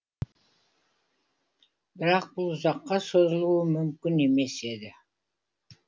бірақ бұл ұзаққа созылуы мүмкін емес еді